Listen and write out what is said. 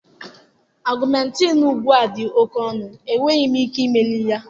Augmenting ugbu a dị oke ọnụ, enweghị m ike imeli ya.